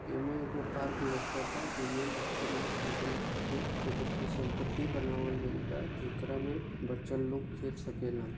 इनमें एक गो पार्क लोकाता जिन में बच्चे लोगोन खातिर एक गो फीसलपट्टी बनावल गयिल बा जेकरा मे बच्चे लोग खेल सकेलन--